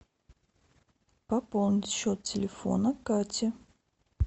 пополнить счет телефона кати